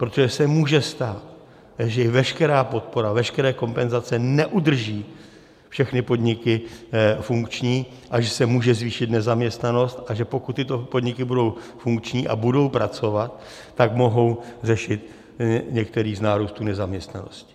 Protože se může stát, že i veškerá podpora, veškeré kompenzace neudrží všechny podniky funkční a že se může zvýšit nezaměstnanost, a že pokud tyto podniky budou funkční a budou pracovat, tak mohou řešit některý z nárůstu nezaměstnanosti.